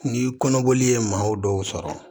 Ni kɔnɔboli ye maaw dɔw sɔrɔ